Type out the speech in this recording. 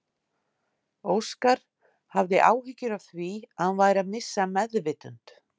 Óskar hafði áhyggjur af því að hann væri að missa meðvitund.